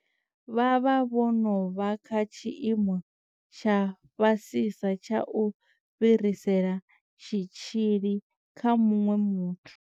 Vha vha vho no vha kha tshiimo tsha fhasisa tsha u fhirisela tshitzhili kha muṅwe muthu.